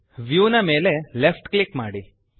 view ನ ಮೇಲೆ left click ಮಾಡಿ